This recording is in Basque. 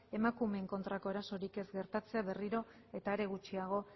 emakumeen kontrako erasorik ez gertatzen berriro eta are gutxiago